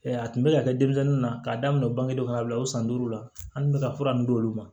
a tun bɛ ka kɛ denmisɛnninw na k'a daminɛ bange dɔ fana bila o san duuru la an kun be ka fura ninnu d'olu ma